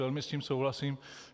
Velmi s tím souhlasím.